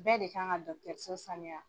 Bɛɛ de kan ka dɔgɔtɔrɔso sanuya